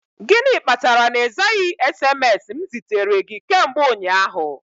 Gịnị kpatara na ịzaghị SMS m zitere gị kemgbe ụnyaahụ?